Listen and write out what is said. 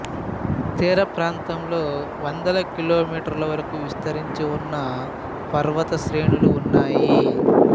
తీర ప్రాంతంలో వందల కిలోమీటర్ల వరకు విస్తరించి ఉన్న పర్వత శ్రేణులు ఉన్నాయి